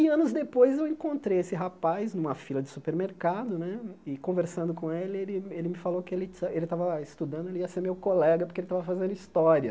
E anos depois eu encontrei esse rapaz numa fila de supermercado né e conversando com ele, ele ele me falou que ele estava estudando, ele ia ser meu colega porque ele estava fazendo história.